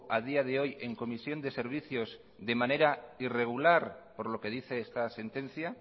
a día de hoy en comisión de servicios de manera irregular por lo que dice esta sentencia